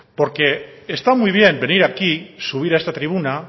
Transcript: porque está muy bien venir aquí subir a esta tribuna